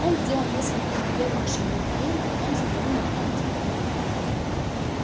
он сделал несколько неуверенных шагов к двери потом взглянул на хардина